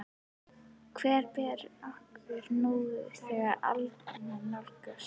Hvert ber okkur nú, þegar aldamót nálgast?